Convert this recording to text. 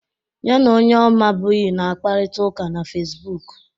Ya na onye ọ mabughị na-akparịta ụka na Fesbuk.